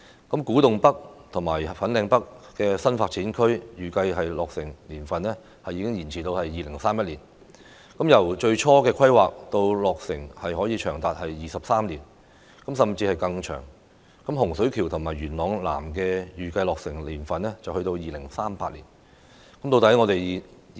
古洞北和粉嶺北新發展區的預計落成年份已延至2031年，由最初規劃到落成長達23年，甚至會更長；洪水橋和元朗南的預計落成年份是2038年。